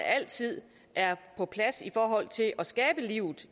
altid er på plads i forhold til at skabe liv